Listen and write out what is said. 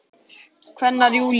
kveinar Júlía.